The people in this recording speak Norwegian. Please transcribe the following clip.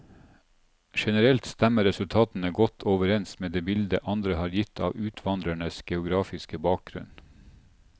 Generelt stemmer resultatene godt overens med det bildet andre har gitt av utvandrerne geografiske bakgrunn.